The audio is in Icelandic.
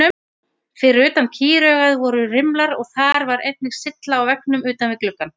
Fyrir utan kýraugað voru rimlar og þar var einnig sylla á veggnum utan við gluggann.